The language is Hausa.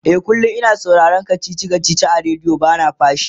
e kullum. ina sauraron kachichi a radio bana fashi